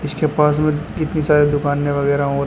इसके पास में कितनी सारी दुकाने वगैरा और हैं।